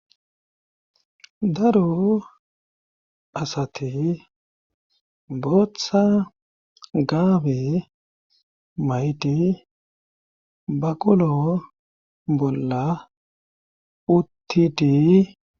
daro asati booththa gaabe mayidi baqolo bolla uttidi.